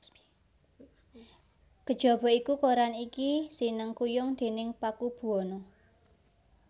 Kejaba iku koran iki sinengkuyung déning Pakubuwana